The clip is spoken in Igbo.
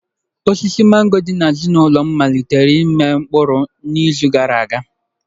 Osisi mango dị n'azụ ụlọ m malitere ịmị mkpụrụ n'izu gara aga.